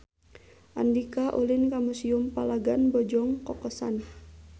Andika ulin ka Museum Palagan Bojong Kokosan